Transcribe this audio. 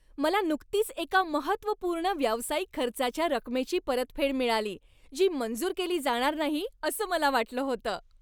मला नुकतीच एका महत्त्वपूर्ण व्यावसायिक खर्चाच्या रकमेची परतफेड मिळाली, जी मंजूर केली जाणार नाही असं मला वाटलं होतं.